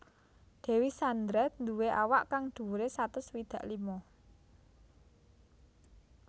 Dewi Sandra nduwé awak kang dhuwuré satus swidak lima